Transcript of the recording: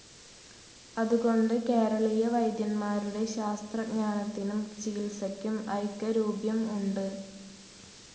അതുകൊണ്ട് കേരളീയ വൈദ്യന്മാരുടെ ശാസ്ത്രജ്ഞാനത്തിനും ചികിത്സയ്ക്കും ഐകരൂപ്യം ഉണ്ട്.